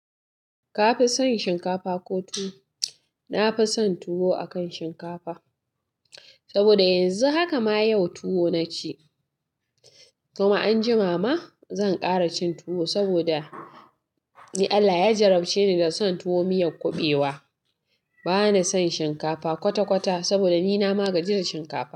Kafison shinkafa ko tuwo? Na fi son tuwo akan shinkafa saboda yanzu haka ma yau tuwo na ci. Kuma anjima ma zan ƙara cin tuwo saboda Allah ya jarabce ni da son tuwo miyan kuɓewa. Ba na son shinkafa kwata-kwata saboda ni na magaji da shinkafa.